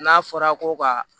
N'a fɔra ko ka